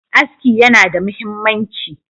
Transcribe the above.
Aski yana da muhimmanci.